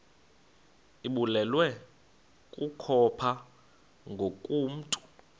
ibulewe kukopha ngokomntu